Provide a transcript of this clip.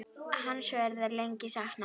Hans verður lengi saknað.